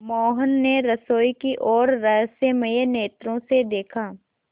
मोहन ने रसोई की ओर रहस्यमय नेत्रों से देखा